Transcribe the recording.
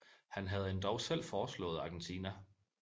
Han havde endog selv foreslået Argentina